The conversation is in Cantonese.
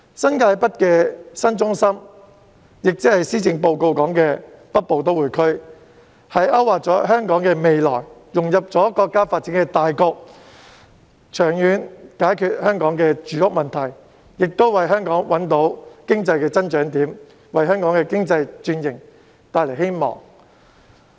新界北這個新中心，即施政報告所建議的北部都會區，勾劃了香港的未來，讓香港融入國家的發展大局，長遠解決香港的住屋問題，亦為香港找到經濟增長點，為香港的經濟轉型帶來希望。